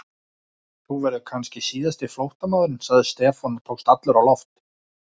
Þú verður kannski síðasti flóttamaðurinn sagði Stefán og tókst allur á loft.